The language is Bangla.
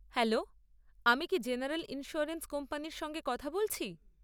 হ্যালো, আমি কি জেনারেল ইন্স্যুরেন্স কোম্পানির সঙ্গে কথা বলছি?